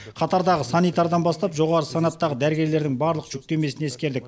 қатардағы санитардан бастап жоғары санаттағы дәрігерлердің барлық жүктемесін ескердік